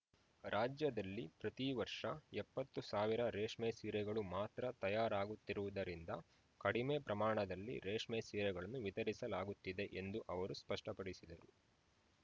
ರಾಜ್ಯದಲ್ಲಿ ಪ್ರತಿ ವರ್ಷ ಎಪ್ಪತ್ತು ಸಾವಿರ ರೇಷ್ಮೆ ಸೀರೆಗಳು ಮಾತ್ರ ತಯಾರಾಗುತ್ತಿರುವುದರಿಂದ ಕಡಿಮೆ ಪ್ರಮಾಣದಲ್ಲಿ ರೇಷ್ಮೆ ಸೀರೆಗಳನ್ನು ವಿತರಿಸಲಾಗುತ್ತಿದೆ ಎಂದು ಅವರು ಸ್ಪಷ್ಟಪಡಿಸಿದರು